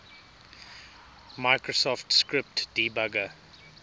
microsoft script debugger